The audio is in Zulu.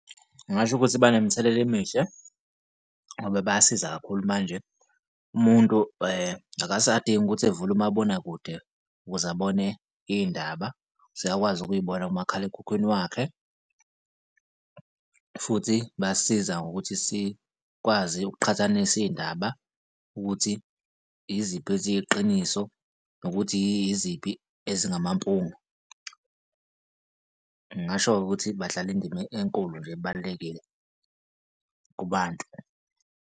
Ngingasho ukuthi banemithelela emihle ngoba bayasiza kakhulu manje umuntu akasadingi ukuthi evule umabonakude ukuze abone iy'ndaba, usuyakwazi ukuyibona kumakhalekhukhwini wakhe. Futhi basiza ngokuthi sikwazi ukuqhathanisa iy'ndaba ukuthi yiziphi eziyiqiniso nokuthi yiziphi ezingamampunge. Ngingasho-ke ukuthi badlala indima enkulu nje ebalulekile kubantu.